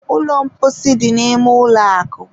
ụlọ mposi dị n'ime ụlọ akụ